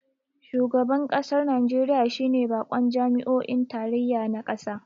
Shugaban kasar Najeriya shi ne bakon jami'o'i na tarayya na kasa